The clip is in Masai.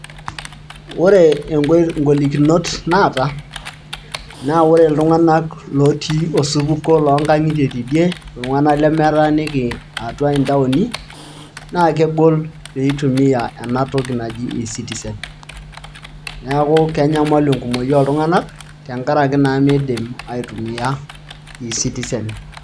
ore igolikinot naata naa ore iltung'anak otii osupuko loo ngang'itie tidie naa ile metaa niki intawuoni naa kengol pee itumia enatoki naji eCitizen ,neeku kenyamalu enkumoki ooltung'anak tengaraki naa meidim aitumia eCitizen.